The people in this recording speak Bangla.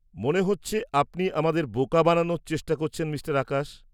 -মনে হচ্ছে আপনি আমাদের বোকা বানানোর চেষ্টা করছেন মিঃ আকাশ।